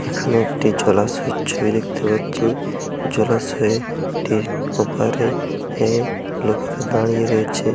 এখানে একটি জলাশয়ের ছবি দেখতে পাচ্ছি। জলাশয়ের ঠিক ওপারে হে লোকেরা দাঁড়িয়ে রয়েছে।